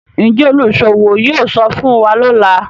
Njé oluṣowo yóò sọfún wá lọla?